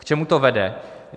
K čemu to vede?